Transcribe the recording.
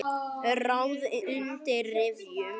Ráð undir rifjum.